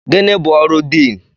Gịnị bụ ọrụ Diin?